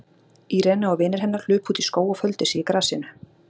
Irene og vinir hennar hlupu út í skóg og földu sig í grasinu.